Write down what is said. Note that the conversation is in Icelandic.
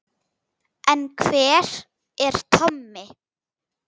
En hver er Tommi?